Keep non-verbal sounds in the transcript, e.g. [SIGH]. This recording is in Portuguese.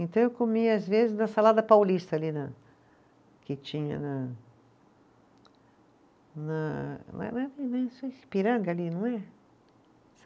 Então, eu comia, às vezes, [UNINTELLIGIBLE] Salada Paulista, ali na, que tinha na na [UNINTELLIGIBLE] Ipiranga, ali, não é?